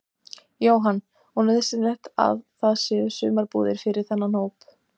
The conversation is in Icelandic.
Jóhann: Og nauðsynlegt að það séu sumarbúðir fyrir þennan hóp?